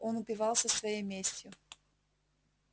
он упивался своей местью